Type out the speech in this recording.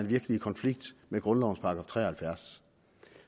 virkelig en konflikt med grundlovens § tre og halvfjerds